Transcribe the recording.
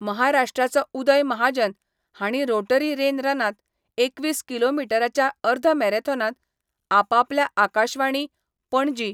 महाराष्ट्राचो उदय महाजन हांणी Rotary rain रनांत एकवीस किलोमिटराच्या अर्ध मॅराथॉनांत आपआपल्या आकाशवाणी, पणजी